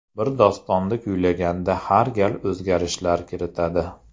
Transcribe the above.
Bir dostonni kuylaganda har gal o‘zgarishlar kiritadi.